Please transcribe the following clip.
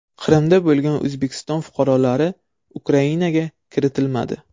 Qrimda bo‘lgan O‘zbekiston fuqarolari Ukrainaga kiritilmadi.